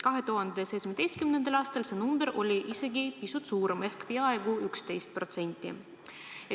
2017. aastal see number oli isegi pisut suurem ehk peaaegu 11%.